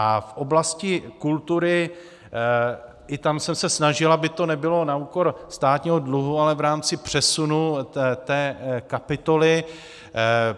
A v oblasti kultury, i tam jsem se snažil, aby to nebylo na úkor státního dluhu, ale v rámci přesunu té kapitoly.